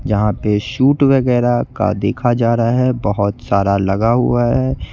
जहां पे सूट वगैरा का देखा जा रहा है बहोत सारा लगा हुआ है।